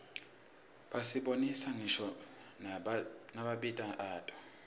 basibonisa ngisho namabito ato